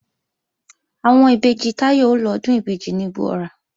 Àwọn ìbejì Táyọ̀ ó lọ Ọdún ìbejì ní Igbó-ọrà